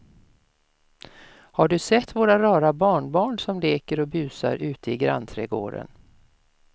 Har du sett våra rara barnbarn som leker och busar ute i grannträdgården!